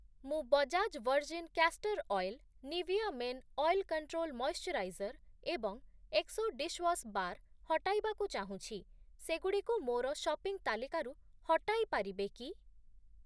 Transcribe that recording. ମୁଁ Bajaj virgin castor oil, Nivea men oil control moisturiser ଏବଂ Exo dishwash bar ହଟାଇବାକୁ ଚାହୁଁଛି, ସେଗୁଡ଼ିକୁ ମୋର ସପିଂ ତାଲିକାରୁ ହଟାଇ ପାରିବେ କି?